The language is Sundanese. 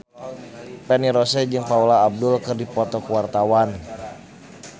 Feni Rose jeung Paula Abdul keur dipoto ku wartawan